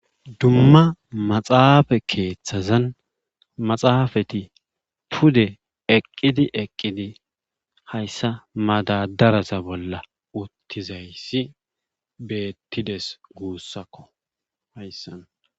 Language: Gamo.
Dumma maxaafa keeththazan maxaafati pude eqqidi eqqidi hayssa madadaraza bolla uttizayssi beettides guussakko hayssan